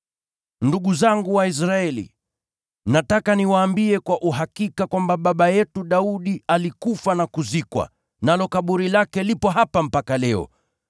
“Ndugu zangu Waisraeli, nataka niwaambie kwa uhakika kwamba baba yetu Daudi alikufa na kuzikwa, nalo kaburi lake lipo hapa mpaka leo.